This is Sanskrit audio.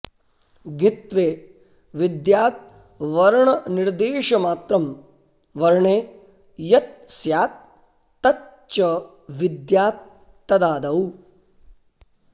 ङित्त्वे विद्याद् वर्णनिर्देशमात्रं वर्णे यत् स्यात् तच् च विद्यात् तदादौ